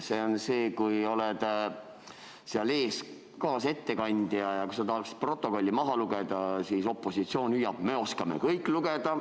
See on see, et kui sa oled seal ees kaasettekandjana ja tahaksid protokolli ette lugeda, siis opositsioon hüüab: "Me oskame kõik lugeda!